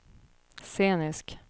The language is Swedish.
scenisk